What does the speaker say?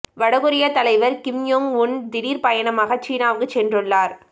வடகொரியத் தலைவர் கிம் யொங் உன் திடீர் பயணமாக சீனாவுக்கு சென்றுள்ளார்